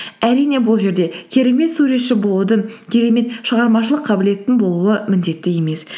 әрине бұл жерде керемет суретші болудың керемет шығармашылық қабілеттің болуы міндетті емес